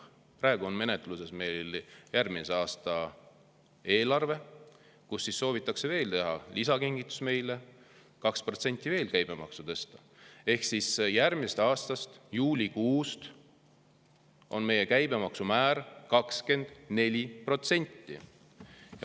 Praegu on meil menetluses järgmise aasta eelarve, kus soovitakse teha meile lisakingitus ja veel 2% käibemaksu tõsta ehk järgmise aasta juulikuust on meie käibemaksumäär 24%.